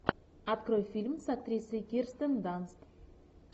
открой фильм с актрисой кирстен данст